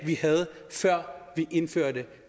vi havde før vi indførte